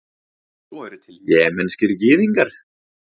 svo eru til jemenskir gyðingar